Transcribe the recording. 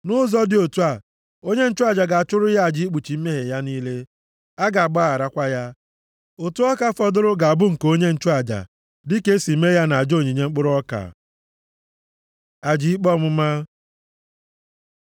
Nʼụzọ dị otu a, onye nchụaja ga-achụrụ ya aja ikpuchi mmehie ya niile. A ga-agbagharakwa ya. Ụtụ ọka fọdụrụ ga-abụ nke onye nchụaja, dịka e si mee ya nʼaja onyinye mkpụrụ ọka.’ ” Aja ikpe ọmụma